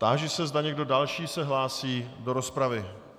Táži se, zda někdo další se hlásí do rozpravy.